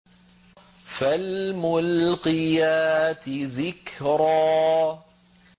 فَالْمُلْقِيَاتِ ذِكْرًا